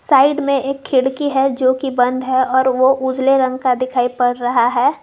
Side में एक खिड़की है जो कि बंद है और वो उजले रंग का दिखाई पड़ रहा है।